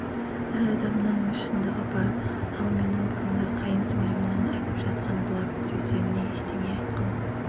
әр адамның өз шындығы бар ал менің бұрынғы қайын сіңілімнің айтып жатқан былапыт сөздеріне ештеңе айтқым